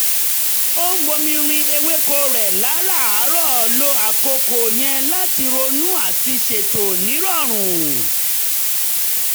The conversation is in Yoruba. ó ń bomi rin ewéko rẹ̀ láràárọ̀ lo àkókò yẹn láti ronú àti ṣètò nírọ̀rùn